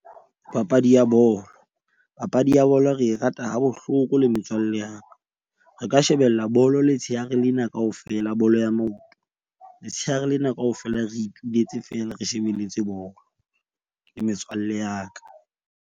Papadi ya bolo, papadi ya bolo re e rata ha bohloko le metswalle ya ka. Re ka shebella bolo letshehare lena kaofela, bolo ya maoto. Letshehare lena kaofela re ipuletse fela re shebelletse bolo le metswalle ya ka.